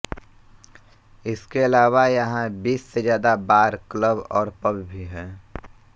इसके अलावा यहां बीस से ज्यादा बार क्लब और पब भी हैं